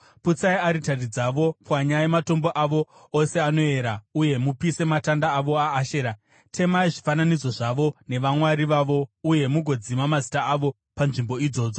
Putsai aritari dzavo, pwanyai matombo avo ose anoera uye mupise matanda avo aAshera; temai zvifananidzo zvavo nevamwari vavo uye mugodzima mazita avo panzvimbo idzodzo.